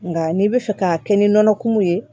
Nka n'i bɛ fɛ k'a kɛ ni nɔnɔ kumu ye